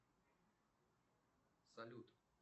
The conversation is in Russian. салют